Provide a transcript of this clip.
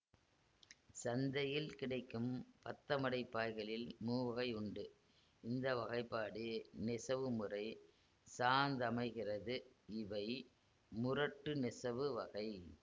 சந்தையில் கிடைக்கும் பத்தமடை பாய்களில் மூவகையுண்டு இந்த வகைபாடு நெசவுமுறை சார்ந்தமைகிறதுஇவை முரட்டு நெசவு வகை